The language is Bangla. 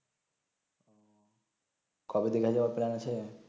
কবে যে গেছো প্লান আছে